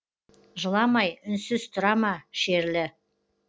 жыламай үнсіз тұра ма шерлі